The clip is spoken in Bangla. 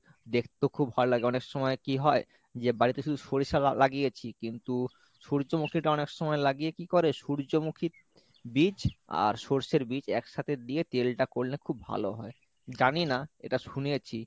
দেখতেও খুব ভালো লাগে অনেক সময় কি হয় যে বাড়িতে শুধু সরিষা লা~ লাগিয়েছি কিন্তু সূর্যমুখীটা অনেকসময় লাগিয়ে কি করে সূর্যমুখীর বীজ আর সর্ষের বীজ একসাথে দিয়ে তেলটা করলে খুব ভালো হয় জানি না এটা শুনেছি।